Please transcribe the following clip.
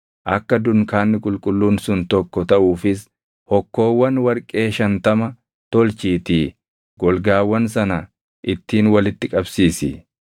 Akka dunkaanni qulqulluun sun tokko taʼuufis hokkoowwan warqee shantama tolchiitii golgaawwan sana ittiin walitti qabsiisi.